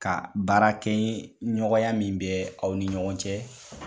Ka baarakɛɲɔgɔnya min bɛ aw ni ɲɔgɔn cɛ